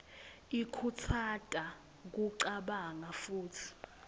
ikhutsata kucabanga futsi